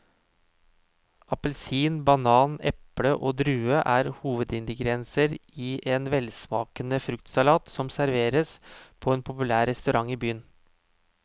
Appelsin, banan, eple og druer er hovedingredienser i en velsmakende fruktsalat som serveres på en populær restaurant i byen.